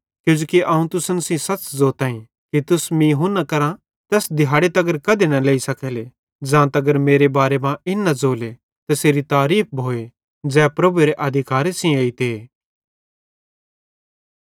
किजोकि अवं तुसन सेइं सच़ ज़ोताईं कि तुस मीं हुन्ना करां तैस दिहाड़े तगर कधे न लेई सकेले ज़ां तगर मेरे बारे मां इन न ज़ोले तैसेरी तारीफ़ भोए ज़ै प्रभुएरे अधिकारे सेइं एइते